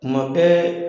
Kuma bɛɛ